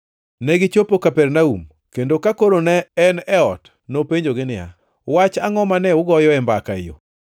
Negichopo Kapernaum, kendo ka koro ne en e ot, nopenjogi niya, “Wach angʼo mane ugoyoe mbaka e yo?”